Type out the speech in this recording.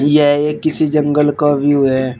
यह एक किसी जंगल का व्यू है।